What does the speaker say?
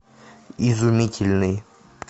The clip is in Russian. изумительный